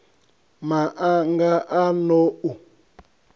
ma anga a n ou